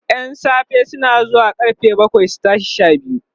ƴan safe na zuwa karfe bakwai su tashi Sha biyu